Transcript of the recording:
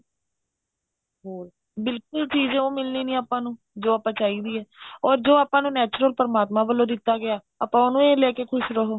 ਹਮ ਬਿਲਕੁਲ ਚੀਜ ਉਹ ਮਿਲਣੀ ਨਹੀਂ ਆਪਾਂ ਨੂੰ ਜੋ ਆਪਾ ਨੂੰ ਚਾਹੀਦੀ ਐ or ਜੋ ਆਪਾਂ ਨੂੰ natural ਪਰਮਾਤਮਾ ਵੱਲੋ ਦਿਤਾ ਗਿਆ ਆਪਾਂ ਉਹਨੂੰ ਹੀ ਲੈਕੇ ਖ਼ੁਸ਼ ਰਵੋ